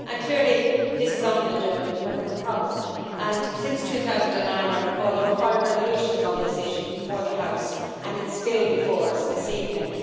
Clearly this is on the agenda, because it is a problem, I recall that since 2009 there have been five resolutions on this issue before the House, and it is still before us this evening.